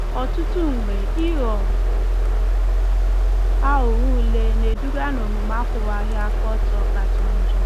Ọtụtụ mgbe, ịghọ aghụghọ ule na-eduga n'omume akwụwaghị aka ọtọ kacha njọ.